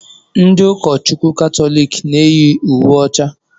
Ndị ụka Chukwu Katọlik na eyi uwe ọcha.